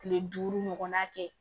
Kile duuru ɲɔgɔnna kɛ